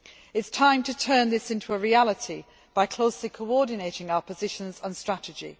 It is time to turn this into a reality by closely coordinating our positions and strategy.